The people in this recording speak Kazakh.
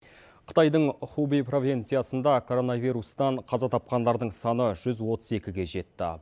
қытайдың хувэй провинциясында короновирустан қаза тапқандардың саны жүз отыз екіге жетті